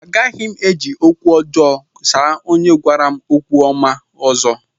Agaghị m eji okwu ọjọọ asa onye gwara m okwu ọma ọzọ